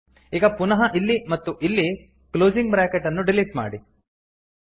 ಈಗ ಪುನಃ ಇಲ್ಲಿ ಮತ್ತು ಇಲ್ಲಿ ಕ್ಲೋಸಿಂಗ್ ಬ್ರಾಕೆಟ್ ಅನ್ನು ಡಿಲೀಟ್ ಮಾಡಿ